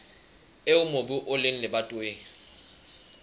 eo mobu o leng lebatoweng